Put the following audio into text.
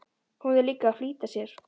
Hún er líka að flýta sér.